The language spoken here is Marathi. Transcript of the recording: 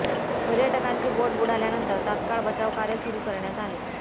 पर्यटकांची बोट बुडाल्यानंतर तात्काळ बचाव कार्य सुरु करण्यात आले